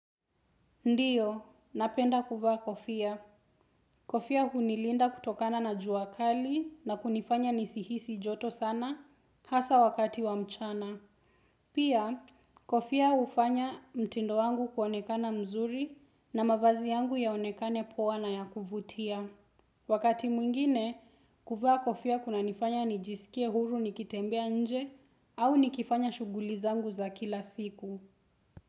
Ndio, napenda kuvaa Kofia. Kofia hunilinda kutokana na jua kali na kunifanya nisihisi joto sana hasa wakati wa mchana. Pia, Kofia ufanya mtindo wangu kuonekana mzuri na mavazi yangu yaonekane poa na ya kuvutia. Wakati mwingine, kuvaa Kofia kuna nifanya nijisikie huru nikitembea nje au nikifanya shuguli zangu za kila siku.